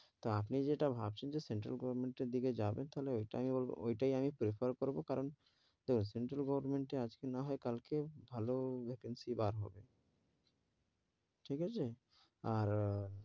তো আপনি যেটা ভাবছেন যে সেন্ট্রাল গভর্নমেন্ট এর দিকে যাবেন, তাহলে ওটাই আমি prefer করবো, কারণ সেট্রাল গভর্নমেন্ট এ আজকে নাহয় কাল কে ভালো vacancy বার হবে, ঠিক আছে আর,